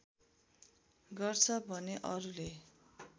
गर्छ भने अरूले